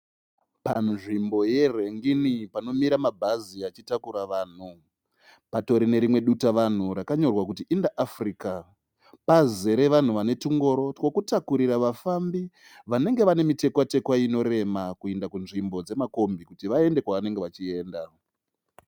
Panzvimbo ye rengini panomira ma bhazi achitakura vanhu. Patori nerimwe dutavanhu rakanyorwa kuti inter africa. Pazere vanhu vane tungoro twekutakurira vafambi vanenge vane mitekwa tekwa inorema kuenda kunzvimbo dzemakombi kuti vaende kwavanenge vachienda.